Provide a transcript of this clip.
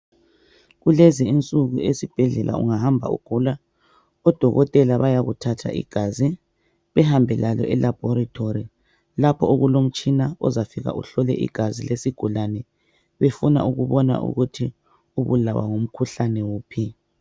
Kulezi insuku ungahamba esibhedlela ugula odokotela bayakuthatha igazi bahambe lalo elabhoretori lapho okulomtshina ozafika uhlole igazi lesigulane ukuthi sibulawa ngumkhuhlane bani.